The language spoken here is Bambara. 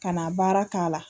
Ka na baara k'a la